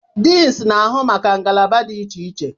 Deans na-ahụ maka ngalaba dị iche iche